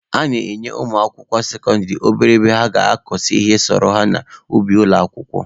A na-enyekwa ụmụ akwụkwọ sekọndịrị obere ebe ha ga-akọgasị ihe sọrọ ha n'ubi ụlọ akwụkwọ.